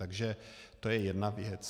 Takže to je jedna věc.